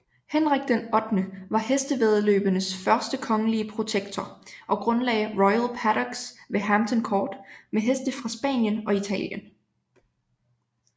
Henrik VIII var hestevæddeløbenes første kongelige protektor og grundlagde Royal Paddocks ved Hampton Court med heste fra Spanien og Italien